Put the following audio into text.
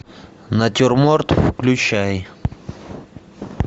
натюрморт включай